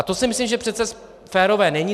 A to si myslím, že přece férové není.